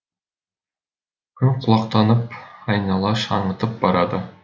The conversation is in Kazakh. күн құлақтанып айнала шаңытып барады